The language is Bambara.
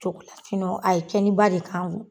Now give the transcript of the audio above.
Cogola a ye cɛnniba de k'an kun.